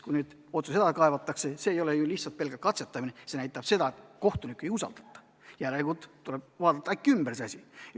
Kui mõni otsus edasi kaevatakse, siis see ei ole lihtsalt pelgalt katsetamine, see näitab seda, et kohtunikku ei usaldata ja järelikult tuleb paluda asi uuesti üle vaadata.